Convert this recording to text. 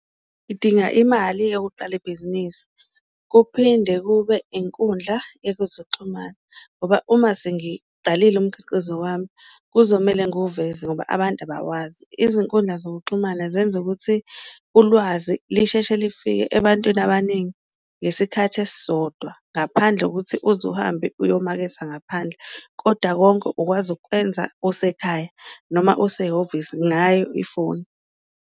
Ngidinga imali yokuqala ibhizinisi kuphinde kube inkundla yekuzoxhumana, ngoba uma sengiqalile umkhiqizo wami kuzomele nguwuveze ngoba abantu abawazi, izinkundla zokuxhumana zenza ukuthi ulwazi lisheshe lifike ebantwini abaningi ngesikhathi esisodwa. Ngaphandle kokuthi uze uhambe uyomaketha ngaphandle, koda konke ukwazi ukukwenza usekhaya noma usehhovisi ngayo ifoni.